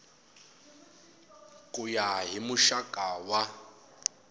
ku ya hi muxaka wa